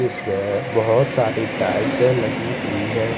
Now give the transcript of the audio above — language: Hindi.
इअमे बहोत सारी टाइलसे लगी हुई है।